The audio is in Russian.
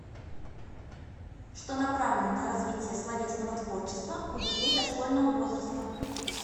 что направлено на развитие словесного творчества у детей дошкольного возраста